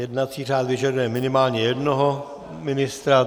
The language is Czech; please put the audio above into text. Jednací řád vyžaduje minimálně jednoho ministra.